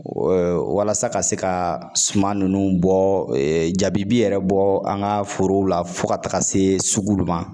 walasa ka se ka suman ninnu bɔ jabi yɛrɛ bɔ an ka forow la fo ka taga se sugu dɔ ma.